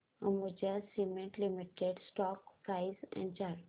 Ambuja cement limited stock price and chart